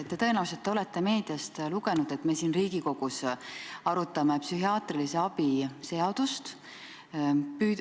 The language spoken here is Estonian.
Te tõenäoliselt olete meediast lugenud, et me siin Riigikogus arutame psühhiaatrilise abi seadust.